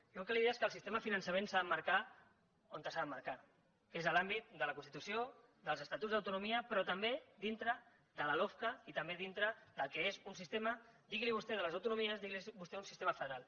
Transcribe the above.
jo el que li deia és que el sistema de finançament s’ha d’emmarcar on s’ha d’emmarcar que és a l’àmbit de la constitució dels estatuts d’autonomia però també dintre de la lofca i també dintre del que és un sistema digui li vostè de les autonomies digui li vostè un sistema federal